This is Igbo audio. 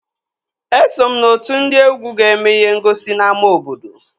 Eso m n'otu ndị egwu ga-eme ihe ngosi n'ámá obodo